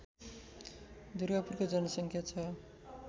दुर्गापुरको जनसङ्ख्या छ